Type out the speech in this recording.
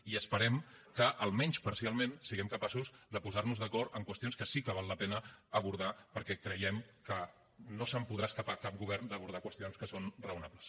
i esperem que almenys parcialment siguem capaços de posar nos d’acord en qüestions que sí que val la pena abordar perquè creiem que no se’n podrà escapar cap govern d’abordar qüestions que són raonables